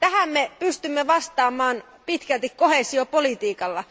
Tähän me pystymme vastaamaan pitkälti koheesiopolitiikalla.